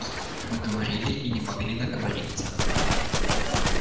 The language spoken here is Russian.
мы говорили и не могли наговориться